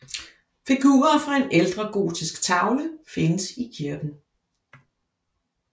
Figurer fra en ældre gotisk tavle findes i kirken